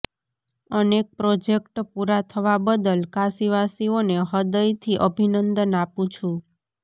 અનેક પ્રોજેક્ટ પૂરાં થવા બદલ કાશીવાસીઓને હ્રદયથી અભિનંદન આપુ છું